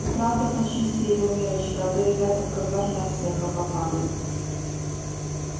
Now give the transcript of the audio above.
ты правда почисти его миррочка а то ребята в казарме от смеха попадают